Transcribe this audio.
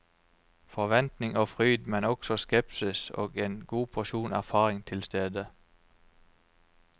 Forventning og fryd, men også skepsis og en god porsjon erfaring tilstede.